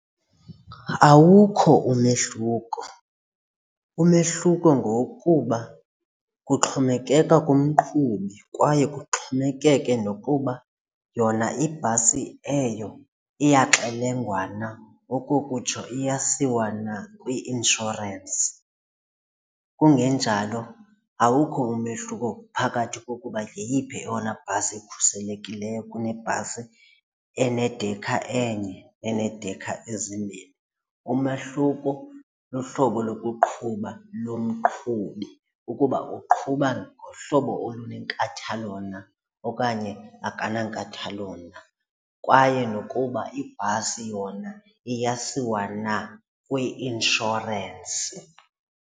Awukho umehluko, umehluko ngowokuba kuxhomekeka kumqhubi kwaye kuxhomekeke nokuba yona ibhasi eyo iyaxelengwa na okokutsho iyasikwa na kwi-inshorensi. Kungenjalo awukho umehluko phakathi kokuba yeyiphi eyona bhasi ikhuselekileyo kunebhasi enedekha enye, enedekha ezimbini, umahluko luhlobo lokuqhuba lomqhubi ukuba uqhuba ngohlobo olunenkathalo na okanye akanankathalo na, kwaye nokuba ibhasi yona iyasiwa na kwi-inshorensi.